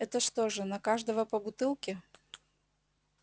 это что же на каждого по бутылке